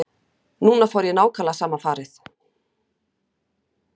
Núna fór ég í nákvæmlega sama farið.